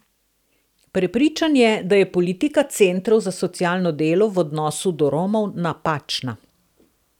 Prepričan je, da je politika centrov za socialno delo v odnosu do Romov napačna.